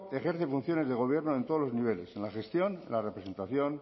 ejerce funciones de gobierno en todos los niveles en la gestión en la representación